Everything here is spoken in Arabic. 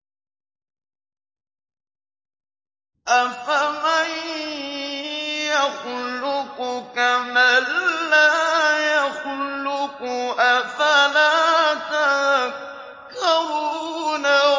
أَفَمَن يَخْلُقُ كَمَن لَّا يَخْلُقُ ۗ أَفَلَا تَذَكَّرُونَ